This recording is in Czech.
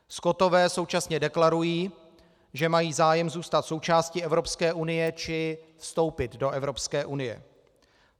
Skotové současně deklarují, že mají zájem zůstat součástí Evropské unie či vstoupit do Evropské unie.